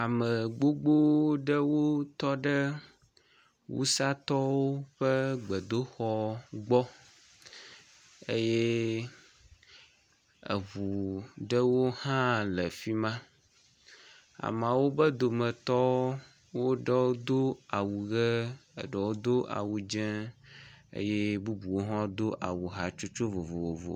Ame gbogbo aɖewo tɔ ɖe wusatɔwo ƒe gbedoxɔa gbɔ eye eŋu ɖewo hã le fi ma. Ameawo ƒe dometɔ wo ɖewo do awu ʋi eye ɖewo do awu dzɛ̃ eye bubuwo hã do awu hatsotso vovovo.